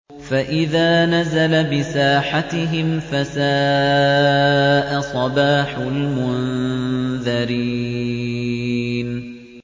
فَإِذَا نَزَلَ بِسَاحَتِهِمْ فَسَاءَ صَبَاحُ الْمُنذَرِينَ